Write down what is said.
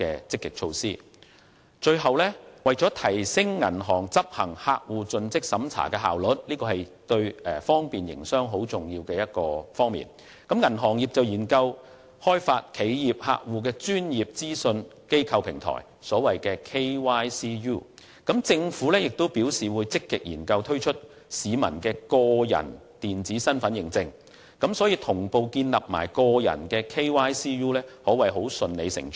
最後，為了提升銀行執行客戶盡職審查的效率——這對方便營商十分重要——銀行業正研究開發企業客戶的專業資訊機構平台，而政府亦表示會積極研究推出市民的個人電子身份認證，所以同步建立個人的 KYCU 可謂順理成章。